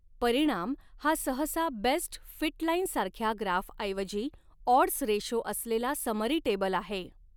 परिणाम हा सहसा बेस्ट फिट लाईन सारख्या ग्राफऐवजी ऑड्स रेशो असलेला समरी टेबल आहे.